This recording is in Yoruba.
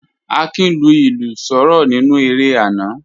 Akin lu ilu soro ninu ere ana